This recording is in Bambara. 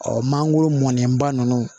mangoro mɔnenba nunnu